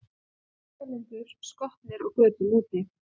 Mótmælendur skotnir á götum úti